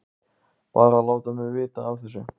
Bara að láta mig vita af þessu.